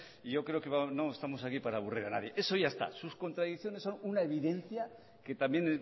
y yo creo que no estamos aquí para aburrir a nadie eso ya está sus contradicciones son una evidencia que también